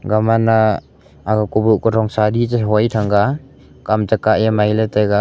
gamana aga kuboh kuthong sahdi chehoi thanga kam chekah eh mailey taiga.